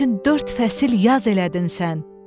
Mənim üçün dörd fəsil yaz elədin sən.